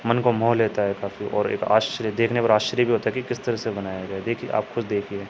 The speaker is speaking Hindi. मन को मोह लेता है काफी और एक आश्रय देखने पे आश्चर्य ता कि किस तरीके से बनाया है देखिए आप खुद ही देखिए।